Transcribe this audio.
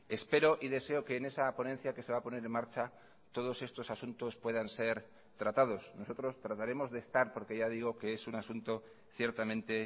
espero y deseo que en esa ponencia que se va a poner en marcha todos estos asuntos puedan ser tratados nosotros trataremos de estar porque ya digo que es un asunto ciertamente